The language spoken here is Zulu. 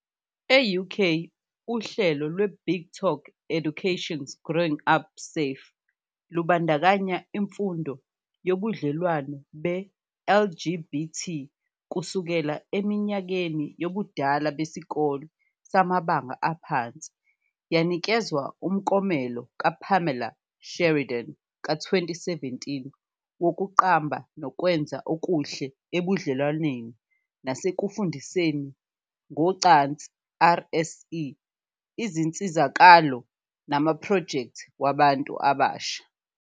E-UK, uhlelo lweBigTalk Education's Growing Up Safe lubandakanya imfundo yobudlelwano be-LGBT kusukela eminyakeni yobudala besikole samabanga aphansi, yanikezwa umklomelo kaPamela Sheridan ka-2017 wokuqamba nokwenza okuhle ebudlelwaneni nasekufundiseni ngocansi, RSE, izinsizakalo namaphrojekthi wabantu abasha.